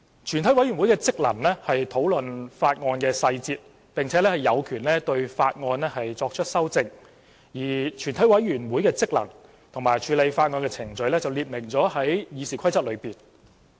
全委會的職能是討論法案的細節，並有權對法案作出修正，而全委會的職能和處理法案的程序則列明於《議事規則》。